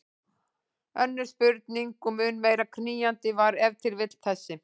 Önnur spurning og mun meira knýjandi var ef til vill þessi